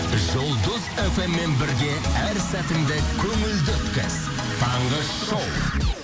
жұлдыз фм мен бірге әр сәтіңді көңілді өткіз таңғы шоу